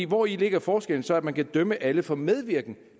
hvori ligger forskellen så når man kan dømme alle for medvirken